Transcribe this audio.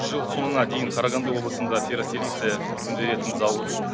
жыл соңына дейін қарағанды облысында ферросилиция өндіретін зауыт